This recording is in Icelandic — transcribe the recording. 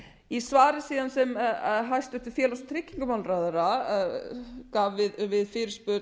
í svari sem hæstvirtur félags og tryggingamálaráðherra gaf við fyrirspurn